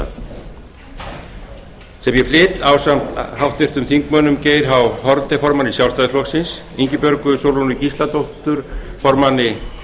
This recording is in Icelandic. atburða sem ég flyt ásamt háttvirtum þingmanni geir h haarde formanni sjálfstæðisflokksins ingibjörgu sólrúnu gísladóttur formanni